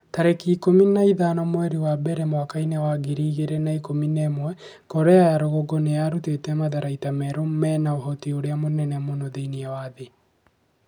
tarĩki ikũmi na ithano mweri wa mbere mwaka wa ngiri igĩrĩ na ikũmi na ĩmwe Korea ya rũgongo nĩ ĩrutĩte matharaita merũ mena ũhoti ũrĩa mũnene mũno thĩinĩ wa thĩ.'